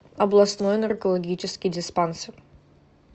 областной наркологический диспансер